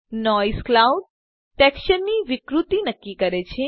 noise cloud texture ની વિકૃતિ નક્કી કરે છે